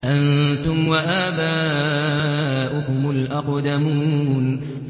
أَنتُمْ وَآبَاؤُكُمُ الْأَقْدَمُونَ